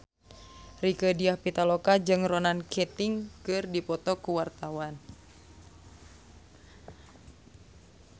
Rieke Diah Pitaloka jeung Ronan Keating keur dipoto ku wartawan